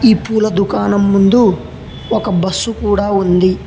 ఈ పూల దుకాణం ముందు ఒక బస్సు కూడా ఉంది.